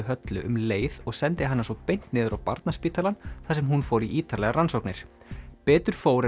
Höllu um leið og sendi hana svo beint niður á Barnaspítalann þar sem hún fór í ítarlegar rannsóknir betur fór